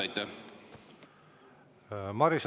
Aitäh!